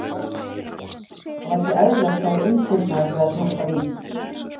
Það var ekki eðlilegt hvað ég umturnaðist við að smakka vín.